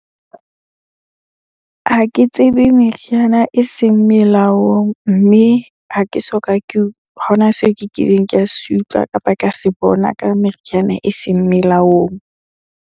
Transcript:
Ha ke tsebe meriana eseng melaong, mme ha ke soka ke, ha ona seo ke kileng ka se utlwa, kapa ka se bona ka meriana eseng melaong.